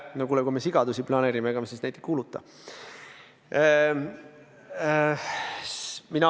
No kuule, kui me sigadusi planeerime, ega me siis neid ei kuuluta.